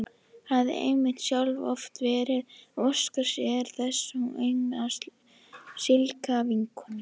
Hafði einmitt sjálf oft verið að óska sér þess að hún eignaðist slíka vinkonu.